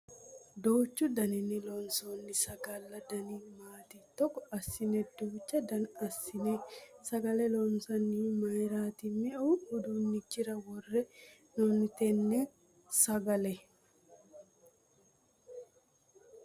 Duuchu daninni loonsonni sagalla dani maati? Togo assine duucha dana assine sagale loonsannihu mayiirati? Me"u udiinichira worre hee'noyi tenne sagale?